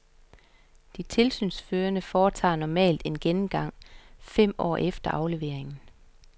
De tilsynsførende foretager normalt en gennemgang fem år efter afleveringen.